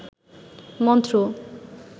মন্ত্র